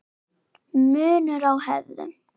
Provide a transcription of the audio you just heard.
Munur á hefðum